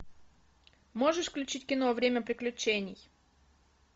можешь включить кино время приключений